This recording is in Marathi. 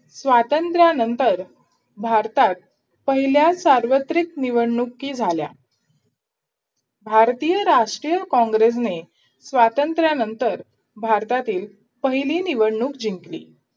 स्वातंत्र्यानंतर भारतात पहिल्या सार्वत्रिक निवडणुकी झाल्या भारतीय राष्ट्रीय कॉंग्रेसने स्वातंत्र्यानंतर भारतातील पहिली निवडणूक जिंकली.